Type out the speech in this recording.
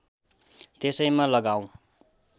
त्यसैमा लगाऔँ